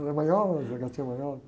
Ela é manhosa, gatinha manhosa.